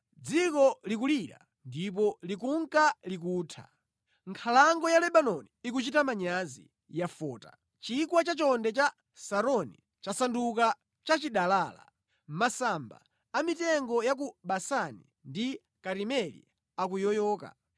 Dziko likulira ndipo likunka likutha. Nkhalango ya Lebanoni ikuchita manyazi, yafota. Chigwa cha chonde cha Saroni chasanduka chachidalala. Masamba a mitengo ya ku Basani ndi Karimeli akuyoyoka.